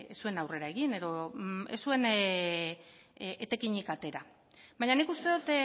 zuen aurrera egin edo ez zuen etekinik atera baina nik uste dot